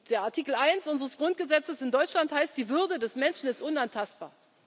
Der Artikel 1 unseres Grundgesetzes in Deutschland heißt Die Würde des Menschen ist unantastbar.